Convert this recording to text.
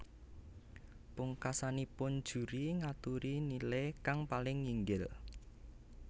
Pungkasanipun juri ngaturi nile kang paling nginggil